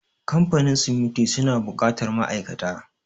Kamfanin siminti suna buƙatar ma'aikata.